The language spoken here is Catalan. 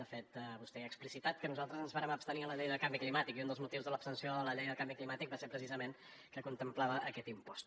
de fet vostè ja ha explicitat que nosaltres ens vàrem abstenir en la llei de canvi climàtic i un dels motius de l’abstenció a la llei del canvi climàtic va ser precisament que contemplava aquest impost